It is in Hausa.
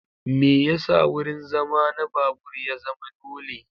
Me yasa wurin zama na babur ya zama dole?